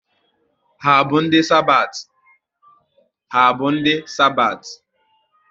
Ha bụ ndị Sabathi?